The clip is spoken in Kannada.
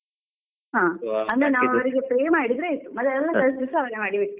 ಹಾ ನಾವು ಅವ್ರಿಗೆ ಎಲ್ಲ pay ಮಾಡಿದ್ರೆ ಆಯ್ತು ಮತ್ತೆ ಎಲ್ಲ ಕೆಲ್ಸ ಸ ಅವ್ರೆ ಮಾಡಿಬಿಡ್ತಾರೆ